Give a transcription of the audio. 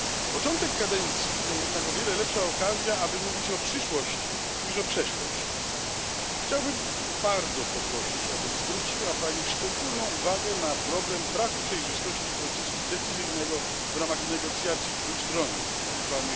Początek kadencji to jednak o wiele lepsza okazja, aby mówić o przyszłości niż o przeszłości. Chciałbym bardzo poprosić, aby zwróciła Pani szczególną uwagę na problem braku przejrzystości procesu decyzyjnego w ramach negocjacji trójstronnych, tzw.